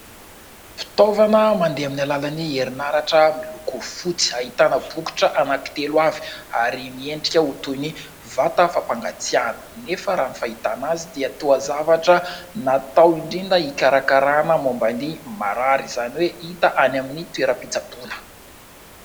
Fitaovana mandeha amin'ny alalan'ny herinaratra miloko fotsy : ahitana bokotra anankitelo avy ary miendrika ho toy ny vata fampangatsihana nefa raha ny fahitana azy dia toa zavatra natao indrindra hikarakarana momban'ny marary ; izany hoe hita any amin'ny toeram-pitsaboana.